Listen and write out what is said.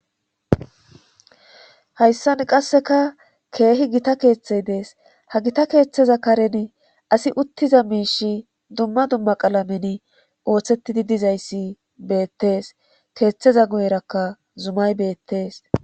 Hayssan qasseka keehi gita keeththey dees ha gita keeththeza karen asi uttiza miish dumma dumma qaalamen ooththettidi dizayssi beettees keeththeza guyerakka zumay beettes